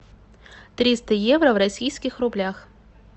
триста евро в российских рублях